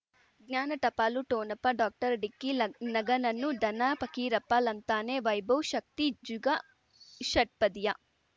ಜ್ಞಾನ ಟಪಾಲು ಠೋಣಪ ಡಾಕ್ಟರ್ ಢಿಕ್ಕಿ ಲಗ್ ಲಗನನ್ನು ಧನ ಫಕೀರಪ್ಪ ಳಂತಾನೆ ವೈಭವ್ ಶಕ್ತಿ ಝುಗಾ ಷಟ್ಪದಿಯ